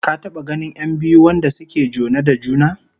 Ka taba ganin 'yan biyu wanda suke jone da juna?